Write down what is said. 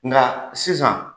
Nka sisan